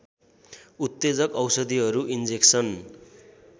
उत्तेजक औषधिहरू इन्जेक्सन